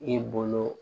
I bolo